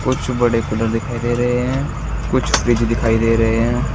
कुछ बड़े कूलर दिखाई दे रहे हैं। कुछ फ्रिज दिखाई दे रहे हैं।